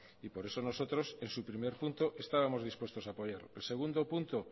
y por eso nosotros en su primer punto estábamos dispuestos a apoyar el segundo punto